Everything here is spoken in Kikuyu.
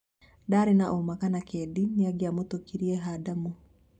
Ndarĩĩ na ũma kana Kedi nĩangĩamũĩtĩkĩrire Hadamu.